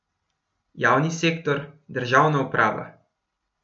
Javni sektor, državna uprava.